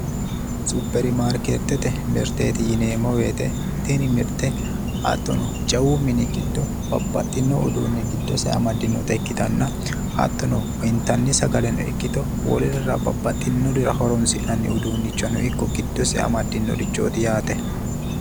Supermarkete mirteeti yineemmo woyte tini mirte hattono jawu mini giddo babbaxxino uduunne giddose amaddinota ikkitanna hattono intanni sagaleno ikkito wolurira babbaxxinorira horoonsi'nanni uduunnichono ikko giddose amaddinorichooti yaate